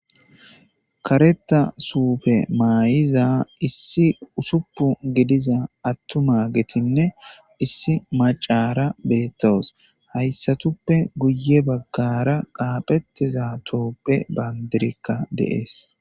kareta suufe maayiza issi usupu gidiza attuma getinne issi macara beettoos hayssatuppe guye baggara qaaphettiza tooppe baandirikka deees